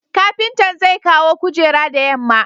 kapintan zekawo kujeran da yamma